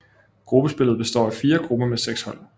Gruppespillet består af fire grupper med seks hold